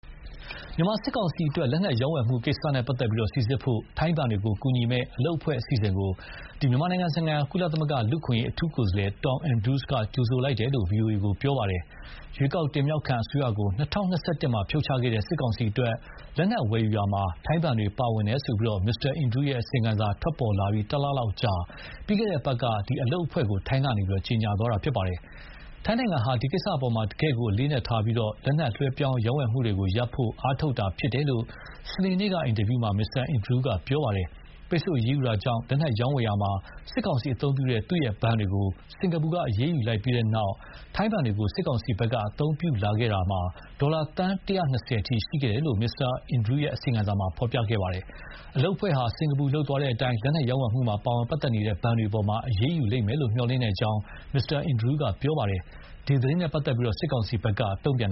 မြန်မာစစ်ကောင်စီအတွက် လက်နက်ရောင်းဝယ်မှုကိစ္စနဲ့ပတ်သက်လို့ စိစစ်ဖို့ ထိုင်းဘဏ်တွေကို ကူညီမယ့်အလုပ်အဖွဲ့ အစီအစဥ်ကို ကုလသမဂ္ဂ မြန်မာနိုင်ငံဆိုင်ရာလူ့အခွင့်အရေး အထူးကိုယ်စားလှယ် Tom Andrews က ကြိုဆိုလိုက်တယ်လို့ ဗွီအိုအေကို ပြောပါတယ်။ ရွေးကောက်တင်မြှောက်ခံ အစိုးရကို ၂၀၂၁ မှာဖြုတ်ချခဲ့တဲ့ စစ်ကောင်စီအတွက် လက်နက် ဝယ်ယူရာမှာ ထိုင်းဘဏ်တွေပါဝင်ခဲ့ကြောင်း မစ္စတာအင်ဒရူးရဲ့အစီရင်ခံစာ ထွက်ပေါ်လာပြီး တလလောက်အကြာ ပြီးခဲ့တဲ့အပတ်က အလုပ်အဖွဲ့ကို ထိုင်းက ကြေညာခဲ့တာပါ။ ထိုင်းနိုင်ငံဟာ ဒီကိစ္စအပေါ် တကယ့်ကို အလေးအနက်ထားပြီး လက်နက်လွှဲပြောင်း ရောင်းဝယ်တာကိုရပ်ဖို့ အားထုတ်တာဖြစ်တယ်လို့ စနေနေ့က အင်တာဗျူးမှာ မစ္စတာအင်ဒရူးက ပြောပါတယ်။ ပိတ်ဆို့အရေးယူတာကြောင့် လက်နက်ရောင်းဝယ်ရာမှာ စစ်ကောင်စီအသုံးပြုတဲ့ သူ့ရဲ့ဘဏ်တွေကို စင်္ကာပူကအရေးယူလိုက်ပြီးတဲ့နောက် ထိုင်းဘဏ်တွေကို စစ်ကောင်စီကအသုံးပြုလာခဲ့တာ ဒေါ်လာ သန်း ၁၂၀ အထိရှိခဲ့တယ်လို့ မစ္စတာအင်ဒရူးရဲ့ အစီရင်ခံစာက ဆိုပါတယ်။ အလုပ်အဖွဲ့ဟာ စင်္ကာပူ လုပ်သွားတဲ့အတိုင်း လက်နက်ရောင်းဝယ်မှုမှာပါဝင်နေတဲ့ဘဏ်တွေအပေါ် အရေးယူလိမ့်မယ်လို့ မျှော်လင့်ကြောင်း မစ္စတာအင်ဒရူးက ပြောပါတယ်။ ဒီသတင်းနဲ့ပတ်သက်လို့ စစ်ကောင်စီဘက်က မတုံ့ပြန်